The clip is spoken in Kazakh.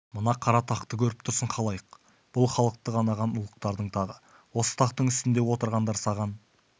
мына қара тақты көріп тұрсың халайық бұл халықты қанаған ұлықтардың тағы осы тақтың үстінде отырғандар саған